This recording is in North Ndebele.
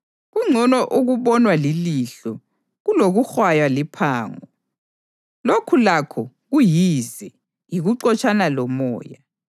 Kungcono okubonwa lilihlo kulokuhwaywa liphango. Lokhu lakho kuyize, yikuxotshana lomoya.